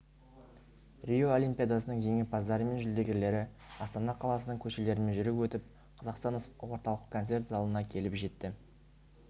рио олимпиадасының жеңімпаздары мен жүлдегерлері астана қаласының көшелерімен жүріп өтіп қазақстан орталық концерт залына келіп жетті